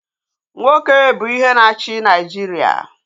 Nwoke bụ ihe na-achị Naịjiria